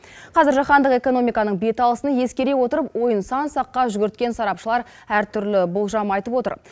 қазір жаһандық экономиканың бет алысын ескере отырып ойын сан саққа жүгірткен сарапшылар әр түрлі болжам айтып отыр